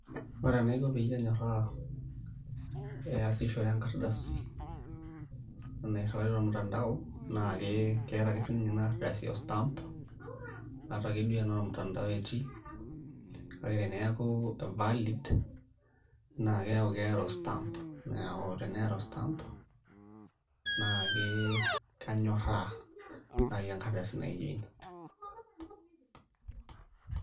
Ore enaiko peyie anyoraa piasishore enkardasi nairiwari tormutandao na ke keeta ake sinye inardasi ostamp atake duo tenaa ormutandao etii , kake teneaku valid naa keaku keeta ostamp neeku teneata ostamp naa ke kanyoraa nai enkardasi naijo ina.